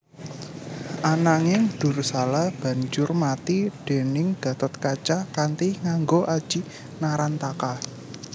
Ananging Dursala banjur mati déning Gatotkaca kanthi nganggo aji Narantaka